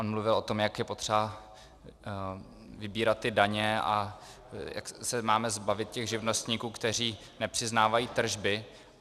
On mluvil o tom, jak je potřeba vybírat ty daně a jak se máme zbavit těch živnostníků, kteří nepřiznávají tržby.